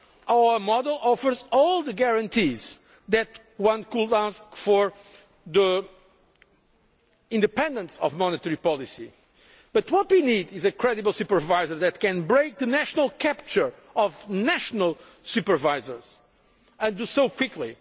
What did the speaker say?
Our model offers all the guarantees that one could ask for the independence of monetary policy but what we need is a credible supervisor that can break free from the national capture of national supervisors and do so quickly.